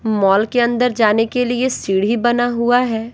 Mall के अंदर जाने के लिए सीढ़ी बना हुआ है।